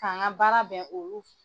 K'an ka baara bɛ olu